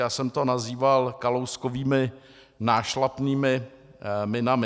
Já jsem to nazýval Kalouskovými nášlapnými minami.